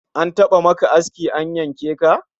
An taba maka aski an yanke ka?